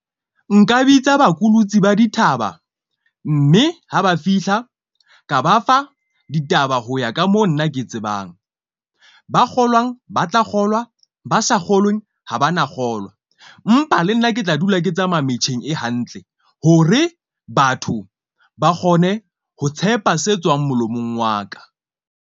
Nka bitsa bakulutsi ba dithaba mme ha ba fihla ka ba fa ditaba ho ya ka moo nna ke tsebang, ba kgolwang ba tla kgolwa, ba sa kgolweng, ho ba na kgolwa. Empa le nna ke tla dula ke tsamaya metjheng e hantle hore batho ba kgone ho tshepa se tswang molomong wa ka.